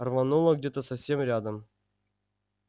рвануло где-то совсем рядом